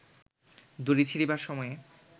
দড়ি ছিঁড়িবার সময়ে